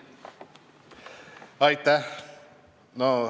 Aitäh!